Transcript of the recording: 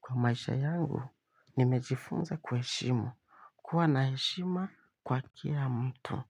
Kwa maisha yangu, nimejifunza kuheshimu. Kuwa na heshima kwa kila mtu.